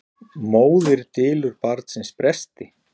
Móðir dylur barnsins bresti.